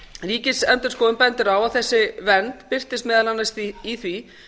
ríkisendurskoðun bendir á að þessi vernd birtist meðal annars í því